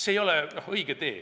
See ei ole õige tee.